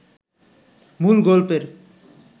মূল গল্পের